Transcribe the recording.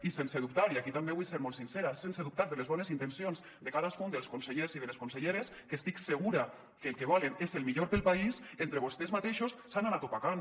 i sense dubtar i aquí també vull ser molt sincera sense dubtar de les bones intencions de cadascun dels consellers i de les conselleres que estic segura que el que volen és el millor per al país entre vostès mateixos s’han anat opacant